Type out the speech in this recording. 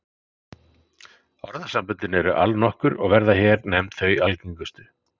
Orðasamböndin eru allnokkur og verða hér nefnd þau algengustu.